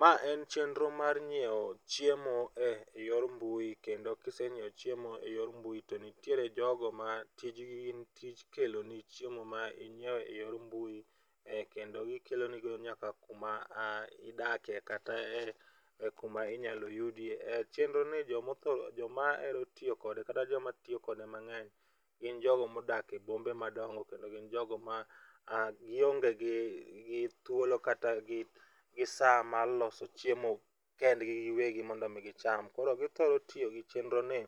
Ma en chenro mar ng'iewo chiemo e yor mbui kendo kiseng'iewo chiemo e yor mbui to nitiere jogo ma tijni gin tij kelo ni chiemo ma inyiewo e yor mbui ,kendo gikelo ni go nyaka kuma idake, kata e kuma inyalo yudie. Chenro ni jomo tho joma ero tiyo kode kata joma tiyo kode mang'eny gin jogo modak e bombe madongo kendo gin jogo ma gionge gi gi thuolo kata jogo gionge gi saa maloso chiemo kendgi giwegi mondo mi gicham. Koro githoro tiyo gi chenro ni